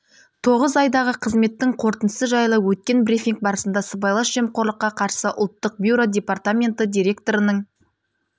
тоғыз айдағы қызметтің қорытындысы жайлы өткен брифинг барысында сыбайлас жемқорлыққа қарсы ұлттық бюро департаменті директорының